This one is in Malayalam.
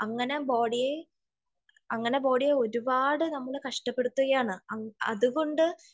അങ്ങനെ ബോഡിയെ ഒരുപാട് നമ്മൾ കഷ്ടപെടുത്തുകയാണ് അതുകൊണ്ട്